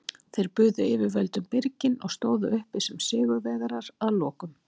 Þeir buðu yfirvöldum byrginn og stóðu uppi sem sigurvegarar að lokum.